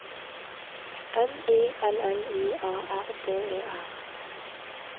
M I L L I A R D E R